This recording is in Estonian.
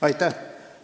Aitäh!